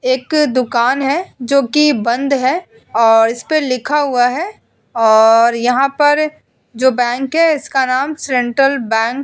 एक दुकान है जो कि बंद है और इस पर लिखा हुआ है और यहां पर जो बैंक है इसका नाम सेंट्रल बैंक --